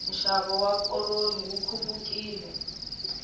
nxavo wa koroni wu khupukile